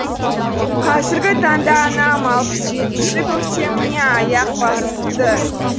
қазіргі таңда анам алпыс жетінші көктеміне аяқ басыпты